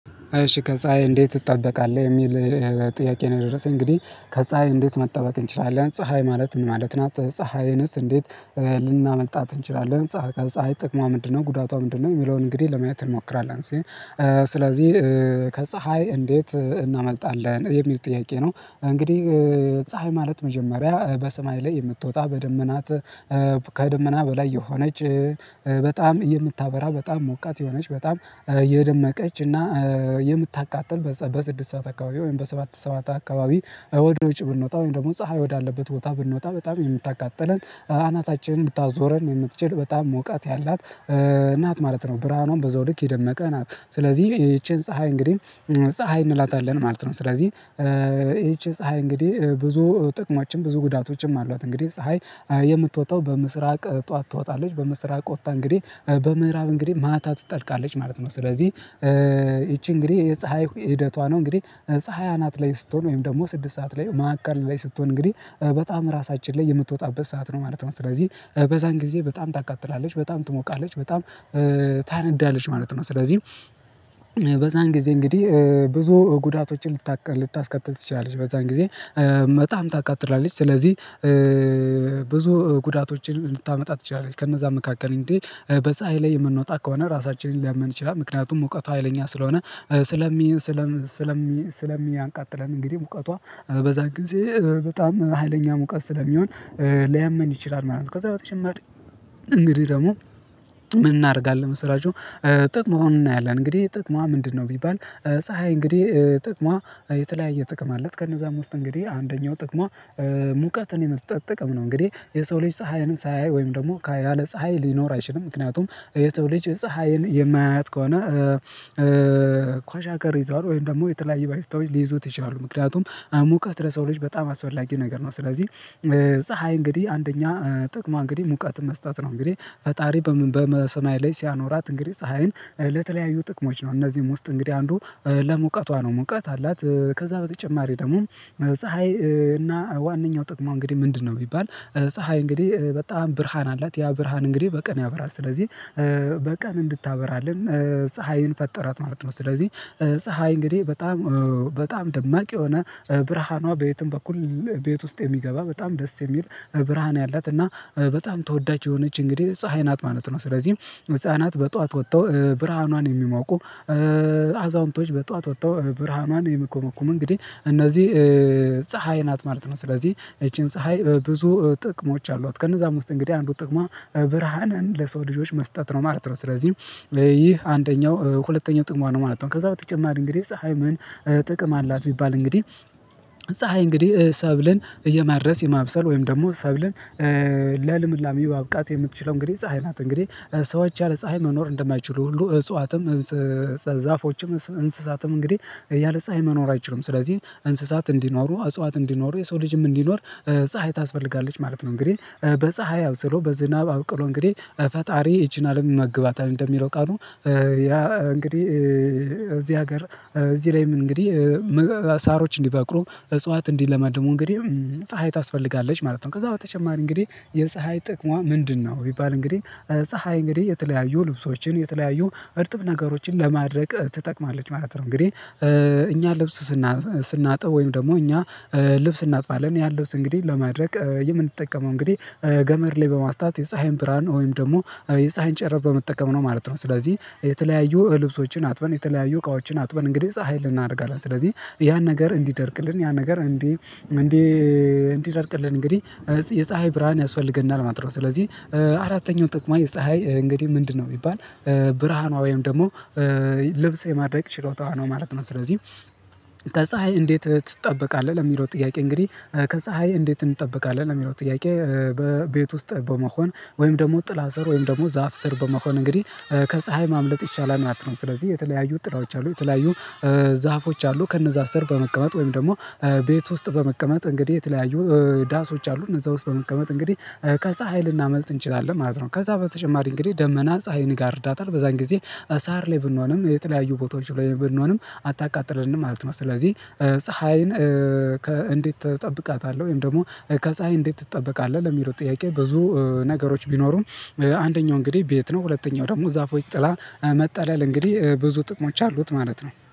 እሺ ከፀሀይ እንዴት? ትጠበቃለህ የሚል ጥያቄ ነው የደረሰኝ እንግዲህ ከፀሀይ እንዴት መጠበቅ እንችላለን ፀሀይ ማለት ምን ማለት ናት ፀሀይንስ እንዴት ልናመልጣት እንችላለን ፀሀይ ፀሀይ ጥቅሟ ምንድነው ጉዳቷ ምንድነው የሚለውን እንግዲህ ለማየት እንሞክራለን። ስለዚህ ከፀሀይ እንዴት እናመልጣለን የሚል ጥያቄ ነው? እንግዲህ ፀሀይ ማለት መጀመሪያ በሰማይ ላይ የምትወጣ በደመናት ከደመና በላይ የሆነች በጣም የምታበራ በጣም ሞቃት የሆነች በጣም የደመቀች እና የምታቃጥል በስድስት ሰዓት አካባቢ ወይም በሰባት ሰዓት አካባቢ ወደ ወጪ ብንወጣ ወይም ደግሞ ፀሀይ ወዳለበት ቦታ ብንወጣ በጣም የምታቃጥለን አናታችንን እንድታዞረን የምትችል በጣም ሙቀት ያላት ናት ማለት ነው። ብርሃኑም በዛው ልክ የደመቀ ናት ስለዚህ ይቺን ፀሀይ እንግዲህ ፀሀይ እንላታለን ማለት ነው። ስለዚህ ይቺን ፀሀይ እንግዲህ ብዙ ጥቅሞችን ብዙ ጉዳቶችም አሏት እንግዲህ ፀሀይ የምትወጣው በምስራቅ ጠዋት ትወጣለች በምስራቅ ወጥታ እንግዲህ በምዕራብ እንግዲህ ማታ ትጠልቃለች ማለት ነው። ስለዚህ ይቺ እንግዲህ የፀሀይ ሂደቷ ነው እንግዲህ ፀሀይ አናት ላይ ስትሆን ወይም ደግሞ ስድስት ሰዓት ላይ ማዕከል ላይ ስትሆን እንግዲህ በጣም ራሳችን ላይ የምትወጣበት ሰዓት ነው ማለት ነው ስለዚህ በዛን ጊዜ በጣም ታቃጥላለች በጣም ትሞቃለች በጣም ታነዳለች ማለት ነው። ስለዚህ በዛን ጊዜ እንግዲህ ብዙ ጉዳቶችን ልታቀጥል ልታስከትል ትችላለች። በዛን ጊዜ በጣም ታቃጥላለች ስለዚህ ብዙ ጉዳቶችን እንድታመጣ ትችላለች። ከነዛ መካከል እንግዲህ በፀሀይ ላይ የምንወጣ ከሆነ ራሳችንን ሊያመን ይችላል ምክንያቱም ሙቀቷ ሀይለኛ ስለሆነ ስለሚያቃጥለን እንግዲህ ሙቀቷ በዛ ጊዜ በጣም ሀይለኛ ሙቀት ስለሚሆን ሊያመን ይችላል ማለት ነው። ከዛ በተጨማሪ እንግዲህ ደግሞ ምን እናደርጋለን መሰላችሁ ጥቅሙንም እናያለን እንግዲህ ጥቅሟ ምንድነው ቢባል ፀሀይ እንግዲህ ጥቅሟ የተለያየ ጥቅም አላት። ከነዛም ውስጥ እንግዲህ አንደኛው ጥቅሟ ሙቀትን የመስጠት ጥቅም ነው እንግዲህ የሰው ልጅ ፀሀይንን ሳያይ ወይም ደግሞ ያለ ፀሀይ ሊኖር አይችልም ምክንያቱም የሰው ልጅ ፀሀይን የማያያት ከሆነ ክዋሻኮር ይዘዋል ወይም ደግሞ የተለያየ በሽታወች ሊይዙት ይችላሉ ምክንያቱም ሙቀት ለሰው ልጅ በጣም አስፈላጊ ነገር ነው። ስለዚህ ፀሀይ እንግዲህ አንደኛ ጥቅሟ እንግዲህ ሙቀትን መስጠት ነው። እንግዲህ ፈጣሪ በምን በሰማይ ላይ ሲያኖራት እንግዲህ ፀሀይን ለተለያዩ ጥቅሞች ነው እነዚህም ውስጥ እንግዲህ አንዱ ለሙቀቷ ነው ሙቀት አላት ከዛ በተጨማሪ ደግሞ ፀሀይ እና ዋናኛው ጥቅሟ እንግዲህ ምንድነው ቢባል ፀሀይ እንግዲህ በጣም ብርሃን አላት ያ ብርሃን እንግዲህ በቀን ያበራል ስለዚህ በቀን እንድታበራለን ፀሀይን ፈጠራት ማለት ነው። ስለዚህ ፀሀይ እንግዲህ በጣም በጣም ደማቅ የሆነ ብርሃኗ በየትም በኩል ቤት ውስጥ የሚገባ በጣም ደስ የሚል ብርሃን ያላት እና በጣም ተወዳጅ የሆነች እንግዲህ ፀሀይ ናት ማለት ነው። ስለዚህ ህፃናት በጧት ወጥተው ብርሃኗን የሚሞቁ አዛውንቶች በጧት ወጥተው ብርሃኗን የሚኮመኩሙ እንግዲህ እነዚህ ፀሀይ ናት ማለት ነው። ስለዚህ ይቺን ፀሀይ ብዙ ጥቅሞች አሏት ከነዛም ውስጥ እንግዲህ አንዱ ጥቅሟ ብርሃንን ለሰው ልጆች መስጠት ነው ማለት ነው። ስለዚህ ይህ አንደኛው ሁለተኛው ጥቅሟ ነው ማለት ነው። ከዛ በተጨማሪ እንግዲህ ፀሀይ ምን ምን ጥቅም አላት? ቢባል እንግዲህ ፀሀይ እንግዲህ ሰብልን የማድረስ የማብሰል ወይም ደግሞ ሰብልን ለልምላሜ ማብቃት የምትችለው እንግዲህ ፀሀይ ናት። እንግዲህ ሰዎች ያለ ፀሀይ መኖር እንደማይችሉ ሁሉ እጽዋትም ዛፎችም እንስሳትም እንግዲህ ያለ ፀሀይ መኖር አይችሉም ስለዚህ እንስሳት እንዲኖሩ እጽዋት እንዲኖሩ የሰው ልጅም እንዲኖር ፀሀይ ታስፈልጋለች ማለት ነው። እንግዲህ በፀሀይ አብስሎ በዝናብ አብቅሎ እንግዲህ ፈጣሪ ይቺን አለም ይመግባታል እንደሚለው ቃሉ ያ እንግዲህ እዚህ ሀገር እዚህ ላይም እንግዲህ ሳሮች እንዲበቅሉ እጽዋት እንዲለመልሙ እንግዲህ ፀሀይ ታስፈልጋለች ማለት ነው። ከዛ በተጨማሪ እንግዲህ የፀሀይ ጥቅሟ ምንድነው? ቢባል እንግዲህ ፀሀይ እንግዲህ የተለያዩ ልብሶችን የተለያዩ እርጥብ ነገሮችን ለማድረቅ ትጠቅማለች ማለት ነው። እንግዲህ እኛ ልብስ ስናጥብ ወይም ደግሞ እኛ ልብስ እናጥባለን ያለን ልብስ እንግዲህ ለማድረቅ የምንጠቀመው እንግዲህ ገመድ ላይ በማስጣት የፀሀይን ብርሃን ወይም ደግሞ የፀሀይን ጨረር በመጠቀም ነው ማለት ነው። ስለዚህ የተለያዩ ልብሶችን አጥበን የተለያዩ እቃዎችን አጥበን እንግዲህ ፀሀይ ላይ እናደርቃለን ስለዚህ ያን ነገር እንዲደርቅልን ያን ነገር እንዲደርቅልን እንግዲህ የፀሀይ ብርሃን ያስፈልገናል ማለት ነው። ስለዚህ አራተኛው ጥቅሟ የፀሀይ እንግዲህ ምንድነው? ቢባል ብርሃኗ ወይም ደግሞ ልብስ የማድረቅ ችሎታዋ ነው ማለት ነው። ስለዚህ ተፀሀይ እንዴት ትጠበቃለህ? ለሚለው ጥያቄ እንግዲህ ከፀሀይ እንዴት እንጠበቃለህ የሚለው ጥያቄ በቤት ውስጥ በመሆን ወይም ደግሞ ጥላ ስር ወይም ደግሞ ዛፍ ስር በመሆን እንግዲህ ከፀሀይ ማምለጥ ይቻላል ማለት ነው። ስለዚህ የተለያዩ ጥላዎች አሉ የተለያዩ ዛፎች አሉ ከነዛ ስር በመቀመጥ ወይም ደግሞ ቤት ውስጥ በመቀመጥ እንግዲህ የተለያዩ ዳሶች አሉ እነዛ ውስጥ በመቀመጥ እንግዲህ ከዛ ሀይል ልናመልጥ እንችላለን ማለት ነው። ከዛ በተጨማሪ እንግዲህ ደመና ፀሀይን ይጋርዳታል በዛን ጊዜ ሳር ላይ ብንሆንም የተለያዩ ቦታዎች ላይ ብንሆንም አታቃጥለንም ማለት ነው። ስለዚህ ፀሀይን እንዴት ትጠብቃታለህ? ወይም ደግሞ ከፀሀይ እንዴት ትጠበቃለህ? ለሚለው ጥያቄ ብዙ ነገሮች ቢኖሩም አንደኛው እንግዲህ ቤት ነው ሁለተኛው ደግሞ ዛፎች ጥላ መጣለል እንግዲህ ብዙ ጥቅሞች አሉት ማለት ነው